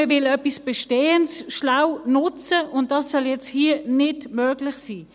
Man will etwas Bestehendes schlau nutzen, und dies soll nun hier nicht möglich sein.